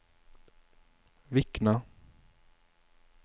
Vikna